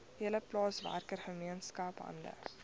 hele plaaswerkergemeenskap hande